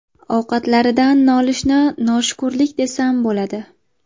Ovqatlaridan nolishni noshukurlik desam bo‘ladi.